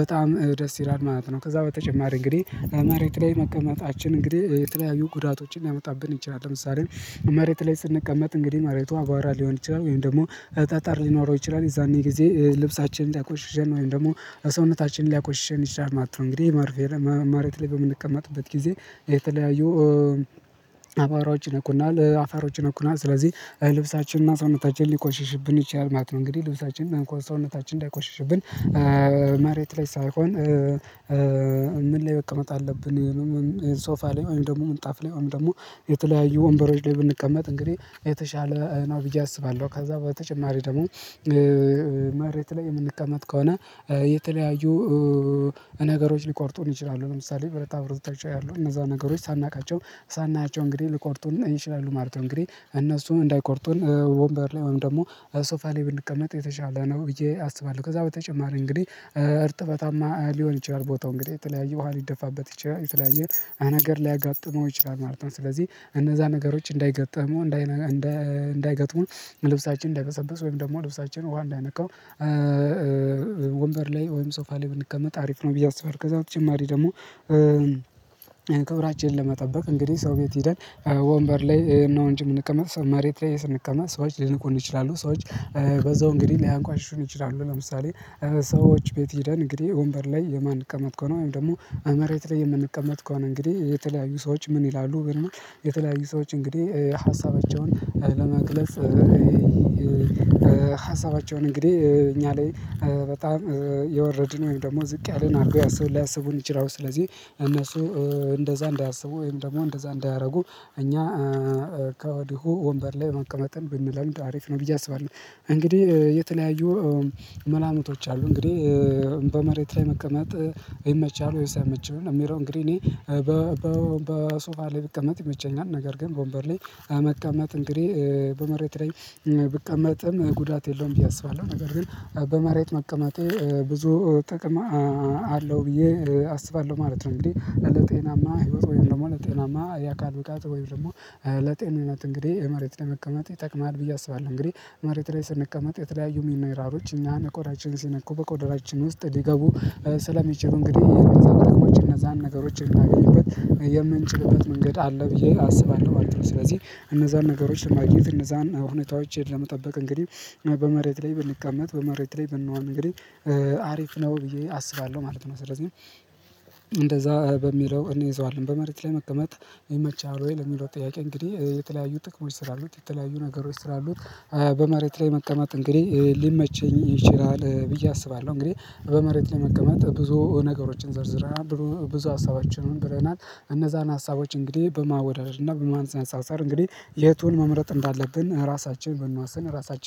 በጣም ደስ ይላል ማለት ነው። ከዛ በተጨማሪ እንግዲህ መሬት ላይ መቀመጣችን እንግዲህ የተለያዩ ጉዳቶችን ሊያመጣብን ይችላል። ለምሳሌ መሬት ላይ ስንቀመጥ እንግዲህ መሬቱ አባራ ሊሆን ይችላል ወይም ደግሞ ጠጠር ሊኖረው ይችላል። የዛኔ ጊዜ ልብሳችንን ሊያቆሽሸን ወይም ደግሞ ሰውነታችንን ሊያቆሽሽኝ ይችላል ማለት ነው። እንግዲህ ማርቬር መሬት ላይ በምንቀመጥበት ጊዜ የተለያዩ አቧራዎች ይነኩናል፤ አፈሮች ይነኩናል። ስለዚህ ልብሳችንና ሰውነታችን ሊቆሽሽብን ይችላል ማለት ነው። እንግዲህ ልብሳችንም ሆነ ሰውነታችንን እንዳይቆሽሽብን መሬት ላይ ሳይሆን ምን ላይ መቀመጥ አለብን ሶፋ ላይ ወይም ደግሞ ምንጣፍ ላይ ወይም ደግሞ የተለያዩ ወንበሮች ላይ ብንቀመጥ እንግዲህ የተሻለ ነው ብዬ አስባለሁ። ከዛ በተጨማሪ ደግሞ መሬት ላይ የምንቀመጥ ከሆነ የተለያዩ ነገሮች ሊቆርጡን ይችላሉ። ለምሳሌ ብረታ ብረቶችታ አሉ፤ እነዛ ነገሮች ሳናውቃቸው ሳናያቸው እንግዲህ ልቆርጡን ይችላሉ ማለት ነው። እንግዲህ እነሱም እንዳይቆርጡን ወንበር ላይ ወይም ደግሞ ሶፋ ላይ ብንቀመጥ የተሻለ ነው ብዬ አስባለሁ። ከዛ በተጨማሪ እንግዲህ እርጥበታማ ሊሆን ይችላል። ቦታው እንግዲህ የተለያየ ውሃ ሊደፋበት ይችላል፤ የተለያየ ነገር ሊያጋጥመው ይችላል ማለት ነው። ስለዚህ እነዛ ነገሮች እንዳይገጥሙ እንዳይገጥሙ ልብሳችን እንዳይበሰብስ ወይም ደግሞ ልብሳችን ውሃ እንዳይነካው ወንበር ላይ ወይም ሶፋ ላይ ብንቀመጥ አሪፍ ነው ብዬ አስባለሁ። ከዛ በተጨማሪ ደግሞ ክብራችንን ለመጠበቅ እንግዲህ ሰው ቤት ሄደን ወንበር ላይ እነ እንጅ የምንቀመጥ ሰው መሬት ላይ ስንቀመጥ ሰዎች ሊንቁን ይችላሉ። ሰዎች በዛው እንግዲህ ሊያቋሽሹን ይችላሉ። ለምሳሌ ሰዎች ቤት ሂደን እንግዲህ ወንበር ላይ የማንቀመጥ ከሆነ ወይም ደግሞ መሬት ላይ የምንቀመጥ ከሆነ እንግዲህ የተለያዩ ሰዎች ምን ይላሉ ግንኙነት የተለያዩ ሰዎች እንግዲህ ሀሳባቸውን ለመግለጽ ሀሳባቸውን እንግዲህ እኛ ላይ በጣም የወረድን ወይም ደግሞ ዝቅ ያልን አድርገው ሊያስቡን ይችላሉ። ስለዚህ እነሱ እንደዛ እንዳያስቡ ወይም ደግሞ እንደዛ እንዳያደርጉ እኛ ከወዲሁ ወንበር ላይ መቀመጠን ብንለምድ አሪፍ ነው ብዬ አስባለሁ። እንግዲህ የተለያዩ መላምቶች አሉ። እንግዲህ በመሬት ላይ መቀመጥ ይመቻል ወይስ አይመችም እሚለው እንግዲህ እኔ በሶፋ ላይ ብቀመጥ ይመቸኛል። ነገር ግን በወንበር ላይ መቀመጥ እንግዲህ በመሬት ላይ ብቀመጥም ጉዳት የለውም ብዬ አስባለሁ። ነገር ግን በመሬት መቀመጤ ብዙ ጥቅም አለው ብዬ አስባለሁ ማለት ነው። እንግዲህ ለጤናማ ህይወት ወይም ደግሞ ለጤናማ ያ አካል ብቃት ወይም ደግሞ ለጤንነት እንግዲህ መሬት ላይ መቀመጥ ይጠቅማል ብዬ አስባለሁ። እንግዲህ መሬት ላይ ስንቀመጥ የተለያዩ ሚነራሎች እኛ ቆዳችንን ሲነኩ በቆዳችን ውስጥ ሊገቡ ስለሚችሉ እንግዲህ እነዛን ነገሮች እነዛን ነገሮችን እምናገኝበት የምንችልበት መንገድ አለ ብዬ አስባለሁ ማለት ነው። ስለዚህ እነዛን ነገሮች ለማግኘት እነዛን ሁኔታዎች ለመጠበቅ እንግዲህ በመሬት ላይ ብንቀመጥ በመሬት ላይ ብንሆን እንግዲህ አሪፍ ነው ብዬ አስባለሁ ማለት ነው። ስለዚህ እንደዛ በሚለው እንይዘዋለን። በመሬት ላይ መቀመጥ ይመችሃል ወይ ለሚለው ጥያቄ እንግዲህ የተለያዩ ጥቅሞች ስላሉት የተለያዩ ነገሮች ስላሉት በመሬት ላይ መቀመጥ እንግዲህ ሊመችኝ ይችላል ብዬ አስባለሁ። እንግዲህ በመሬት ለመቀመጥ ብዙ ነገሮችን ዝርዝረናል ብዙ ሀሳቦችን ብለናል። እነዛን ሀሳቦች እንግዲህ በማወዳደር እና በማነፃፀር እንግዲህ የቱን መምረጥ እንዳለብን ራሳችን ብንወስን ራሳችንን